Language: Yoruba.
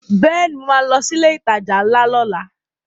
Bẹ́ẹ̀ni mo ma lọ sí ilé ìtajà ńlá lọ́la